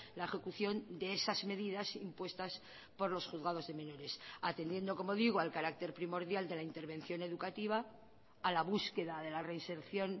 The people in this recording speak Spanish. la ejecución de esas medidas impuestas por los juzgados de menores atendiendo como digo al carácter primordial de la intervención educativa a la búsqueda de la reinserción